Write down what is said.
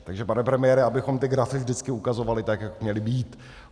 Takže pane premiére, abychom ty grafy vždycky ukazovali tak, jak měly být.